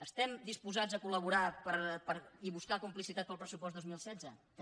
estem disposats a col·laborar i buscar complicitats per al pressupost dos mil setze també